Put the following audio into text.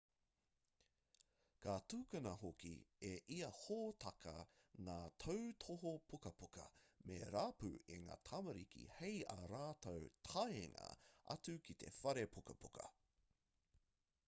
ka tukuna hoki e ia hōtaka ngā tautohu pukapuka me rapu e ngā tamariki hei ā rātou taenga atu ki te whare pukapuka